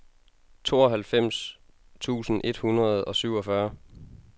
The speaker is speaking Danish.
tooghalvfems tusind et hundrede og syvogfyrre